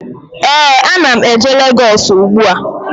Ee, a na m eje Legọs ugbu a